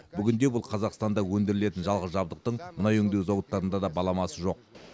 бүгінде бұл қазақстанда өндірілетін жалғыз жабдықтың мұнай өңдеу зауыттарында да баламасы жоқ